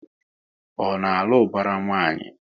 Ọ na alụ ubara nwanyi?